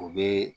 U bɛ